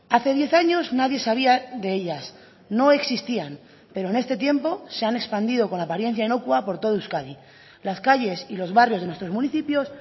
hace diez años nadie sabía de ellas no existían pero en este tiempo se han expandido con apariencia inocua por todo euskadi las calles y los barrios de nuestros municipios